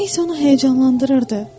Nə isə onu həyəcanlandırırdı.